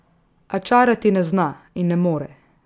A čarati ne zna in ne more.